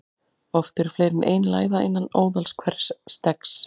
Oft eru fleiri en ein læða innan óðals hvers steggs.